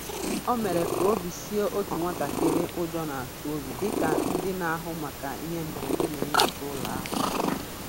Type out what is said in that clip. O mere ka obi sie otu nwatakịrị ụjọ na-atụ obi dị ka ndị na-ahụ maka ihe mberede na-enyocha ụlọ ahụ.